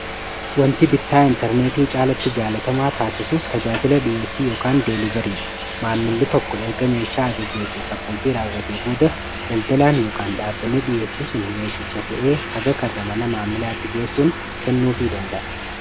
wanti bittaa intarneetii caalatti jaalatamaa taasisu tajaajila dhi'eessii ykaan deelibarii dha maammili tokko erga meeshaa ajajee fi kaffaltii raawwatii booda daldalaan ykan dhaabbanni dhiyeessii sun meeshacha fe'ee haga karra mana maammilaatti geessuun kennuu fi danda'a